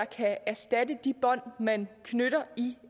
kan erstatte de bånd man knytter i